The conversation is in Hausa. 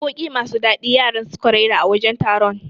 Waƙoƴi masu dadi yaran suka raira a wajen taron